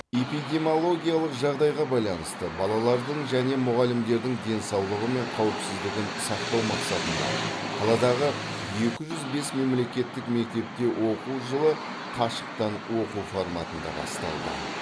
эпидемологиялық жағдайға байланысты балалардың және мұғалімдердің денсаулығы мен қауіпсіздігін сақтау мақсатында қаладағы екі жүз бес мемлекеттік мектепте оқу жылы қашықтан оқу форматында басталды